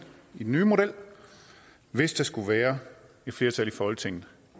i den nye model hvis der skulle være et flertal i folketinget